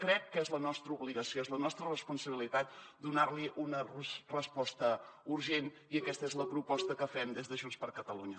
crec que és la nostra obligació és la nostra responsabilitat donarhi una resposta urgent i aquesta és la proposta que fem des de junts per catalunya